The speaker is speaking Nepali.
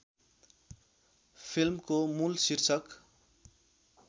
फिल्मको मूल शीर्षक